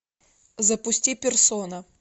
запусти персона